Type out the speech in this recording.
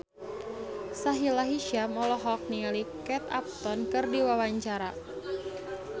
Sahila Hisyam olohok ningali Kate Upton keur diwawancara